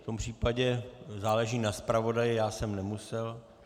V tom případě záleží na zpravodaji, já jsem nemusel...